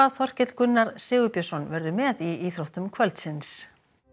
Þorkell Gunnar Sigurbjörnsson verður með í íþróttum kvöldins